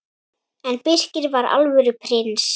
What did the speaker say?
En Birkir var alvöru prins.